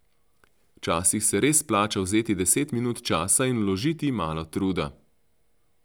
Včasih se res splača vzeti deset minut časa in vložiti malo truda.